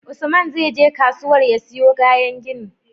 Usman zai je kasuwar ya siyo kayan gini